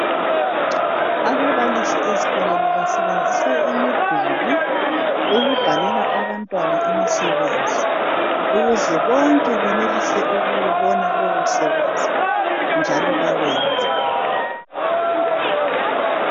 Ababalisi ezikolweni basebenzisa imiduli ukubhalela abantwana imisebenzi ukuze bonke benelise ukuwubona lowo msebenzi njalo bawenze